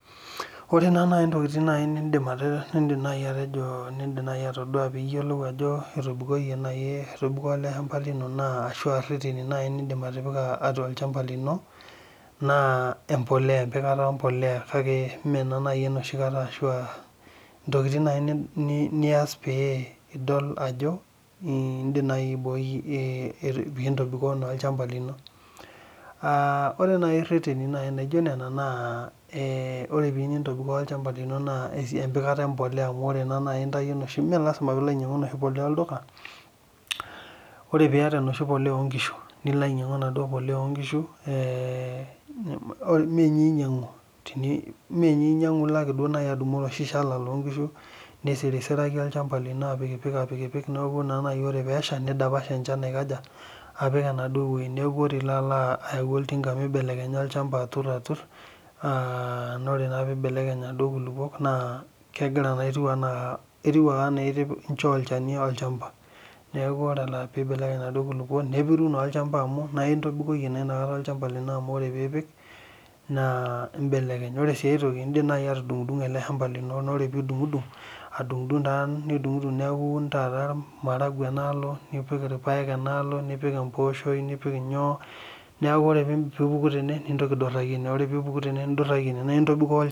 Ore nai ntokitin nidim nai atejo nindim atadua piyiolou ajo etobiko eleshamba ashu nindim atipika atua olchamba lino na empolea na empikata empolea ashu aantokitin nai nias pidol ajo indim aiboi ntokitin naitobikoo olchamba lino naa ore reteni lijo lela na ore piyieu nintobiko olchamba lino na empikata empolea melasima pilo ainyangu empolea olduka nilo ainyangu enoshi onkishu ninyangu ilo ake adumu oloshi shala lonkishu nisirisiraki aisirisiraki neoku naore pesha nidapash enchan neaku ore ilo apik oltinga mibelekenya olchamba atur na ore peibelekeny atur kuna kulukuok na etiu ake ana itipika olchani olchamba neaku ore peturu enaduo kulukuoni nepiru na olchamba ningamu ore pipik na ore si enkai toki na indim nidungdung olchamba lino nidungdung neaku ore maragwe enaalo nipik irpaek nipik empooshoi neaku ore pipuku tene ninduraki ene na intobikoo olchamba